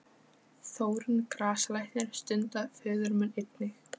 Þórunn grasalæknir stundaði föður minn einnig.